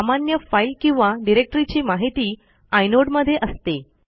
सामान्य फाईल किंवा डिरेक्टरीची माहिती आयनोड मध्ये असते